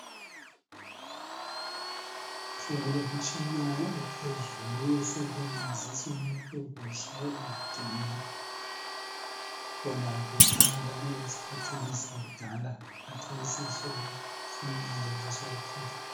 Sekulemtshina ephezulu esebenzisa umuntu kuhle engadinwa. Khona kuqala esikhathini sakudala khathesi sokuphumelele sokuphezulu.